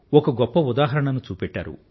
ఒక గొప్ప ఉదాహరణను చూపెట్టారు